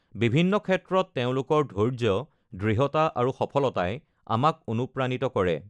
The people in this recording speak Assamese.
বিভিন্ন ক্ষেত্ৰত তেওঁলোকৰ ধৈৰ্য, দৃঢ়তা আৰু সফলতাই আমাক অনুপ্ৰাণিত কৰে।